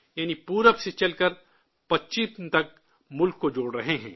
یعنی، مشرق سے چل کر مغرب تک ملک کو جوڑ رہے ہیں